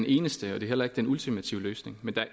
ens kælder eller